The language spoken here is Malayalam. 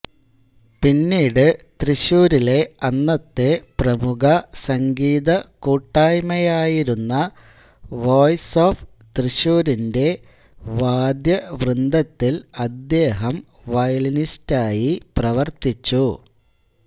പിന്നീട് തൃശൂരിലെ അന്നത്തെ പ്രമുഖ സംഗീതകൂട്ടായ്മയായിരുന്ന വോയ്സ് ഓഫ് തൃശൂരിന്റെ വാദ്യവൃന്ദത്തിൽ അദ്ദേഹം വയലിനിസ്റ്റായി പ്രവർത്തിച്ചു